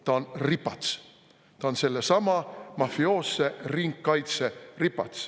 Ta on ripats, ta on sellesama mafioosse ringkaitse ripats.